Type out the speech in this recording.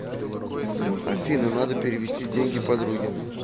афина надо перевести деньги подруге